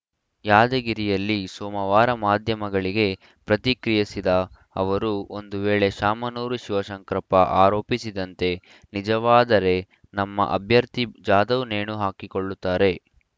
ಯಾದಗಿರಿಯಲ್ಲಿ ಸೋಮವಾರ ಮಾಧ್ಯಮಗಳಿಗೆ ಪ್ರತಿಕ್ರಿಯಿಸಿದ ಅವರು ಒಂದು ವೇಳೆ ಶಾಮನೂರು ಶಿವಶಂಕರಪ್ಪ ಆರೋಪಿಸಿದಂತೆ ನಿಜವಾದರೆ ನಮ್ಮ ಅಭ್ಯರ್ಥಿ ಜಾಧವ್‌ ನೇಣು ಹಾಕಿಕೊಳ್ಳುತ್ತಾರೆ